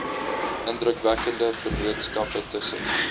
indrukwekkende vennootskappe tussen